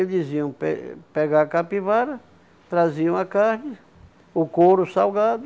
Eles iam pe pegar a capivara, traziam a carne, o couro salgado,